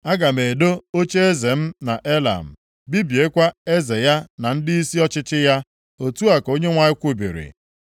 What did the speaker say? Aga m edo ocheeze m nʼElam, bibiekwa eze ya na ndịisi ọchịchị ya,” otu a ka Onyenwe anyị kwubiri.